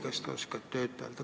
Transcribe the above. Kas te oskate öelda?